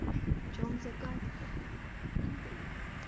в чем загадка я не пойму